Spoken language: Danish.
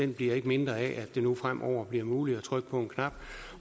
bliver ikke mindre af at det nu fremover bliver muligt at trykke på en knap